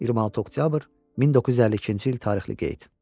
26 oktyabr 1952-ci il tarixli qeyd.